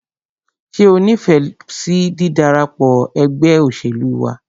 Ṣé o nífẹsí dídarapọ̀ ẹgbẹ́ òṣèlú wa?